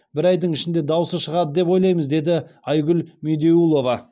бір айдың ішінде даусы шығады деп ойлаймыз деді айгүл медеулова